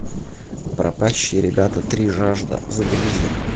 пропащие ребята три жажда загрузи